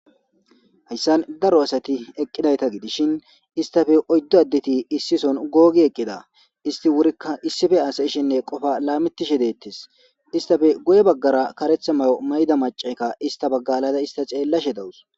Hayssan daro asati eqqidayta gidishin istafe oyddo addeti issison googi eqqida isti wurikka issife asa ishenne qofa laamittishe deettes istafe goye baggara karetha mayo mayda macayka ista baggalada ista ceellashe dawus.